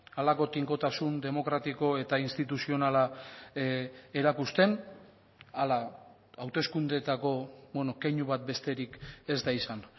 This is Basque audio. halako tinkotasun demokratiko eta instituzionala erakusten ala hauteskundeetako keinu bat besterik ez da izan